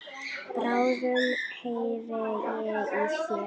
Bráðum heyri ég í þér.